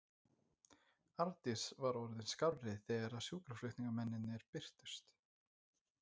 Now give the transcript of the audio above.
Arndís var orðin skárri þegar sjúkraflutningamennirnir birtust.